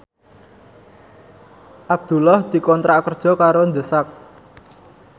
Abdullah dikontrak kerja karo The Sak